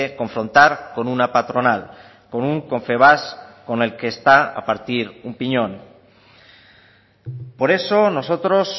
confrontar con una patronal con un confebask con el que está a partir un piñón por eso nosotros